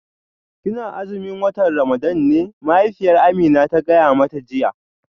Kina azumin watan Ramadan ne mahaifiyar Amina ta gaya mata jiya